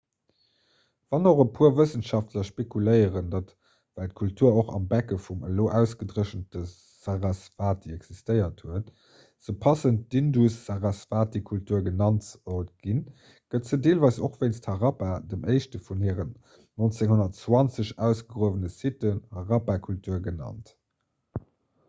wann och e puer wëssenschaftler spekuléieren datt well d'kultur och am becke vum elo ausgedréchente sarasvati existéiert huet se passend d'indus-sarasvati-kultur genannt sollt ginn gëtt se deelweis och wéinst harappa dem éischte vun hiren 1920 ausgegruewene siten harappa-kultur genannt